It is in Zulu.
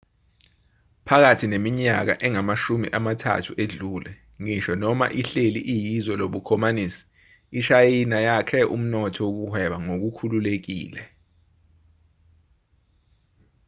phakathi neminyaka engamashumi amathathu edlule ngisho noma ihleli iyizwe lobukhomanisi ishayina yakhe umnotho wokuhweba ngokukhululekile